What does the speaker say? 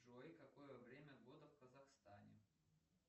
джой какое время года в казахстане